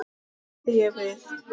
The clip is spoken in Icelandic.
bætti ég við.